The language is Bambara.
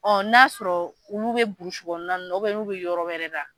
Ɔ na'a sɔrɔ olu bɛ burusikɔnɔ na n'olu bɛ yɔrɔ wɛrɛ la.